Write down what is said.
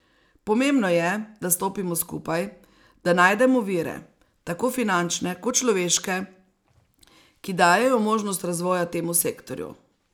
Pomembno je, da stopimo skupaj, da najdemo vire, tako finančne kot človeške, ki dajejo možnost razvoja temu sektorju.